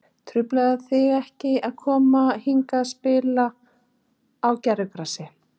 Truflaði þig ekkert að koma hingað og spila á gervigrasi?